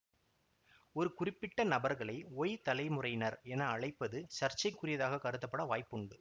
ஒரு குறிப்பிட்ட நபர்களை ஒய் தலைமுறையினர் என அழைப்பது சர்ச்சைக்குரியதாக கருதப்பட வாய்ப்புண்டு